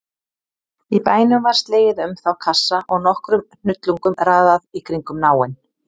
Í bænum var slegið um þá kassa og nokkrum hnullungum raðað í kringum náinn.